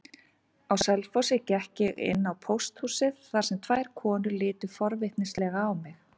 Á Selfossi gekk ég inn á pósthúsið þar sem tvær konur litu forvitnislega á mig.